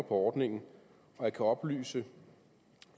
ordningen og jeg kan oplyse